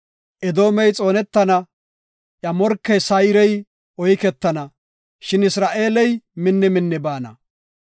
Edoomey xoonetana; iya morkey Sayrey oyketana; shin Isra7eeley minni minni baana.